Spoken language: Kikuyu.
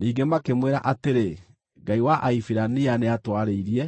Ningĩ makĩmwĩra atĩrĩ, “Ngai wa Ahibirania nĩatwarĩirie.